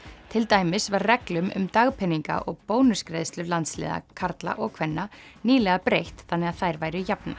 til dæmis var reglum um dagpeninga og bónusgreiðslur landsliða karla og kvenna nýlega breytt þannig að þær væru jafnar